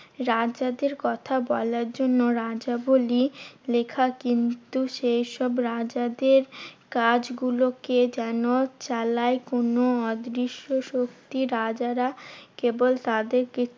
রাজাদের কথা বলার জন্য রাজবলি লেখা। কিন্তু সেইসব রাজাদের কাজগুলোকে যেন চালায় কোনো অদৃশ্য শক্তি। রাজারা কেবল তাদের